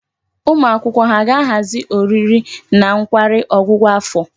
Ụmụ akwụkwọ ha ga-ahazi oriri na nkwari ọgwụgwụ afọ?